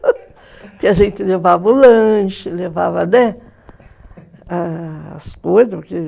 Porque a gente levava o lanche, levava, né, as coisas.